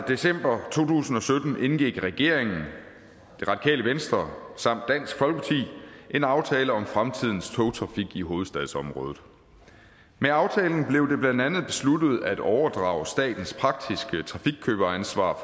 december to tusind og sytten indgik regeringen det radikale venstre samt dansk folkeparti en aftale om fremtidens togtrafik i hovedstadsområdet med aftalen blev det blandt andet besluttet at overdrage statens praktiske trafikkøberansvar